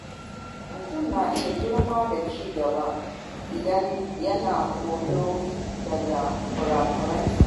Mutum na iya girma da ci gaba idan yana koyo daga kura-kuransa.